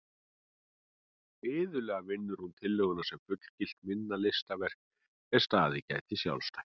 Iðulega vinnur hún tillöguna sem fullgilt minna listaverk er staðið geti sjálfstætt.